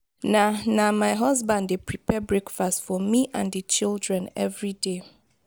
na na my husband dey prepare breakfast for me and di children everyday.